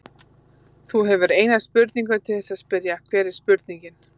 Þú hefur eina spurningu til þess að spyrja, hver er spurningin?